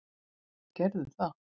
Þeir gerðu það.